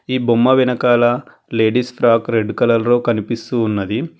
ఈ బొమ్మ వెనకాల లేడీస్ ఫ్రాక్ రెడ్ కలర్ లో కనిపిస్తూ ఉన్నది.